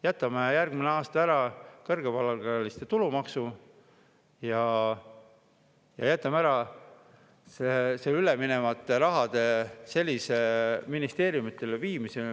Jätame järgmisel aastal ära kõrgepalgaliste tulumaksu ja jätame ära üleminevate rahade viimise ministeeriumidele.